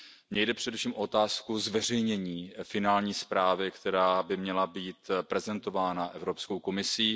Mně jde především o otázku zveřejnění finální zprávy, která by měla být prezentována Evropskou komisí.